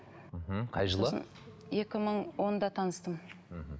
мхм қай жылы екі мың онда таныстым мхм